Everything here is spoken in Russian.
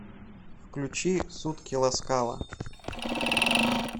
включи сутки ласкала